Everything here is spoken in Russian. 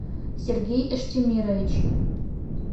сергей эштемирович